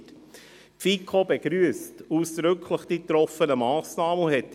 Die FiKo begrüsst die getroffenen Massnahmen ausdrücklich.